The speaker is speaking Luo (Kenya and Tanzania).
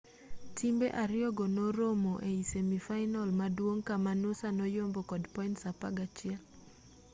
timbe ariyogo norom e semi fainal maduong' kama noosa noyombo kod points 11